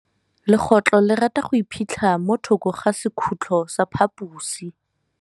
Legôtlô le rata go iphitlha mo thokô ga sekhutlo sa phaposi.